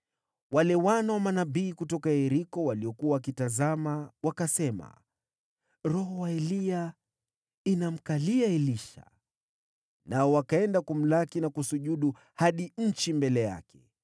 Wale wana wa manabii kutoka Yeriko waliokuwa wakitazama wakasema, “Roho wa Eliya inamkalia Elisha.” Nao wakaenda kumlaki na kusujudu hadi nchi mbele yake.